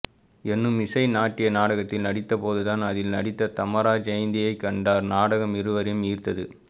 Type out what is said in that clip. எனும் இசை நாட்டிய நாடகத்தில் நடித்தபோதுதான் அதில் நடித்த தமரா ஜயந்தியைகண்டார் நாடகம் இருவரையும் ஈர்த்த து